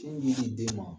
Sin ji di den ma